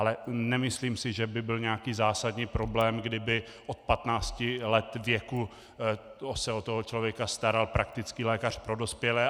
Ale nemyslím si, že by byl nějaký zásadní problém, kdyby od 15 let věku se o toho člověka staral praktický lékař pro dospělé.